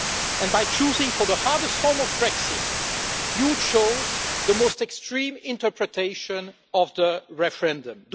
And by choosing the hardest form of Brexit you chose the most extreme interpretation of the referendum.